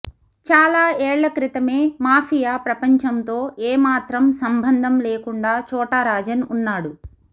చాలా ఏళ్ల క్రితమే మాఫియా ప్రపంచంతో ఏమాత్రం సంబంధం లేకుండా చోటా రాజన్ ఉన్నాడు